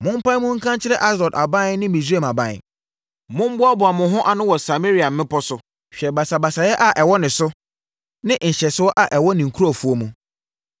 Mompae mu nka nkyerɛ Asdod aban ne Misraim aban: “Mommoaboa mo ho ano wɔ Samaria mmepɔ so; hwɛ basabasayɛ a ɛwɔ ne so ne nhyɛsoɔ a ɛwɔ ne nkurɔfoɔ mu.”